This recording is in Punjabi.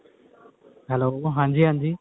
hello ਹਾਂਜੀ ਹਾਂਜੀ